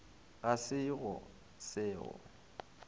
ga se go se go